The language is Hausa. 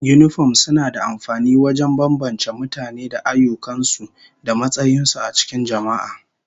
Yinifom suna da amfani wajen bambance mutane da ayyukan su da matsayin su a cikin jama'a